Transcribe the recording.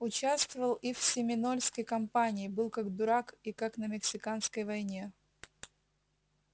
участвовал и в семинольской кампании был как дурак и как на мексиканской войне